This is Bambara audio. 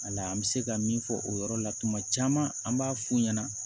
Wala an bɛ se ka min fɔ o yɔrɔ la tuma caman an b'a f'u ɲɛna